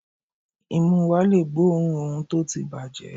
Imú wa le gbóòórùn ohun tó ti bàjẹ́.